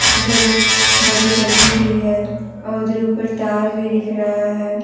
इधर एक बड़ी गली भी है और उधर ऊपर तार भी दिख रहा है।